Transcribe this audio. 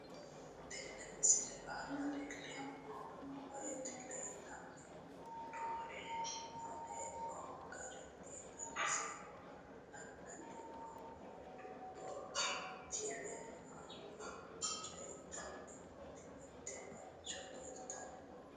Tenne misile aana laeemmo woyte leelanni noo'ere aane noo garinni xawiseemmo. La'anni noomorri dubub tv aana coyidhanni nooti mitte mancho leeltanni nooe.